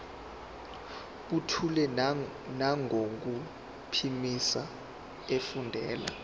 buthule nangokuphimisa efundela